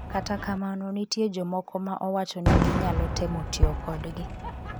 Kata kamano nitie jomoko ma owacho ni ginyalo temo tiyo kodgi.